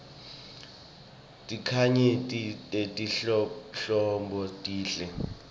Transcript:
tinkhanyeti letinhlobonhlobo tinhle